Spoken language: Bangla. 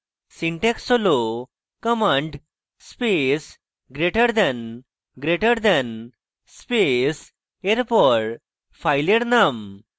syntax হল command space greater the greater the space এরপর ফাইলের নাম